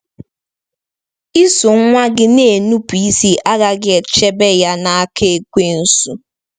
Iso nwa gị na-enupụ isi agaghị echebe ya n’aka Ekwensu.